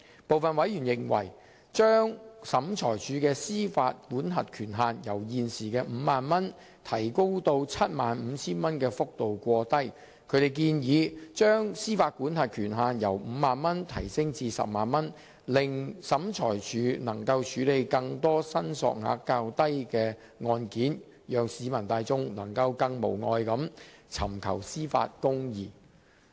部分委員認為把審裁處的司法管轄權限由現時的 50,000 元提高至 75,000 元的幅度過低，他們建議把司法管轄權限由 50,000 元提高至 100,000 元，令審裁處能夠處理更多申索額較低的案件，讓市民大眾能夠更無礙地尋求司法公義。